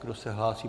Kdo se hlásí?